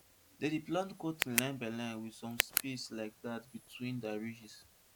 dem dey plant cotton line by line with some space like dat between their ridges